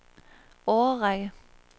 årrække